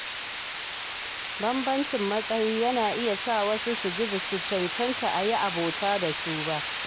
Bambancin matsayi yana iya sa wasu su ji ba su cancanta a yi abota da su ba.